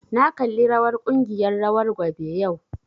Na kalli rawar ƙungiyar rawar gwabe yau